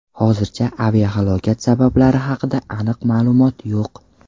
Hozircha aviahalokat sabablari haqida aniq ma’lumot yo‘q.